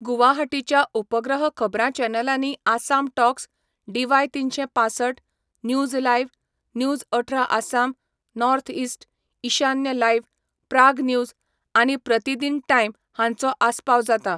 गुवाहाटीच्या उपग्रह खबरां चॅनलांनी आसाम टॉक्स, डीवाय तिनशें पांसठ, न्यूज लायव्ह, न्यूज अठरा आसाम, नॉर्थ इस्ट, ईशान्य लायव्ह, प्राग न्यूज आनी प्रतिदिन टाईम हांचो आस्पाव जाता.